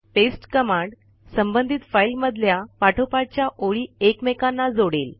paste command संबंधित file मधल्या पाठोपाठच्या ओळी एकमेकांना जोडेल